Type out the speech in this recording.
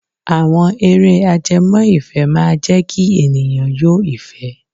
Àwọn eré ajẹmọ́ ìfẹ́ máa jẹ́ kí ènìyàn yó ìfẹ́.